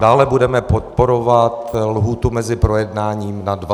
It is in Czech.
Dále budeme podporovat lhůtu mezi projednáním na 20 dní.